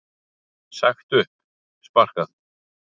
Sagt upp, sparkað.